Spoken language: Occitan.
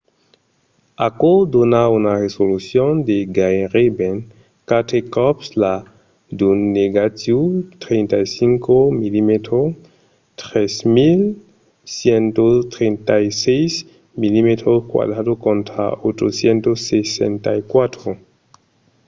aquò dona una resolucion de gaireben quatre còps la d’un negatiu 35 mm 3136 mm2 contra 864